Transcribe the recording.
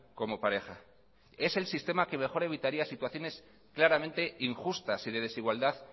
como pareja es el sistema que mejor evitaría situaciones claramente injustas y de desigualdad